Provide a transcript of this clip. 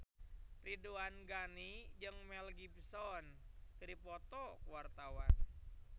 Ridwan Ghani jeung Mel Gibson keur dipoto ku wartawan